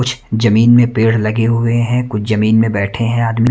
कुछ जमीन में पेड़ लगे हुए हैं कुछ जमीन में बैठे हैं आदमी--